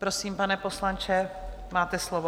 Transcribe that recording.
Prosím, pane poslanče, máte slovo.